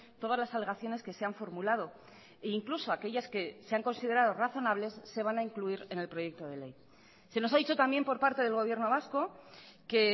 todas las alegaciones que se han formulado e incluso aquellas que se han considerado razonables se van a incluir en el proyecto de ley se nos ha dicho también por parte del gobierno vasco que